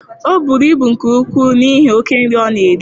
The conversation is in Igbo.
Ọ bụrụ ibu nke ukwuu n'ihi oke nri ọ na-eri.